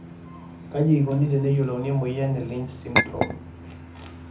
kaji eikoni teneyiolouni emoyian e Lynch syndrome?